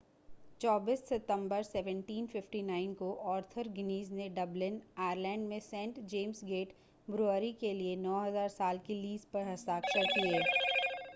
24 सितंबर 1759 को Arthur Guinness ने डबलिन आयरलैंड में सेंट जेम्स गेट ब्रूअरी के लिए 9,000 साल की लीज़ पर हस्ताक्षर किए